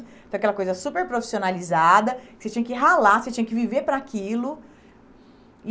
Então, aquela coisa super profissionalizada, que você tinha que ralar, você tinha que viver para aquilo. E